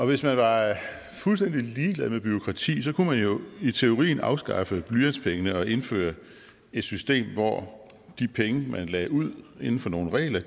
hvis man var fuldstændig ligeglad med bureaukrati kunne man jo i teorien afskaffe blyantspengene og indføre et system hvor de penge man lagde ud inden for nogle regler